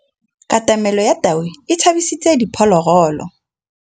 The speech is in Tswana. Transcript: Katamêlô ya tau e tshabisitse diphôlôgôlô.